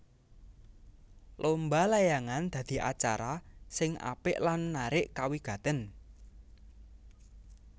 Lomba layangan dadi acara sing apik lan narik kawigatèn